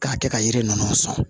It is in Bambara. K'a kɛ ka yiri ninnu sɔn